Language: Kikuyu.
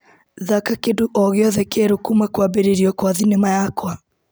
Thaka kĩndũ ogĩothe kĩerũ kuma kwambĩrĩrio kwa thinema yakwa.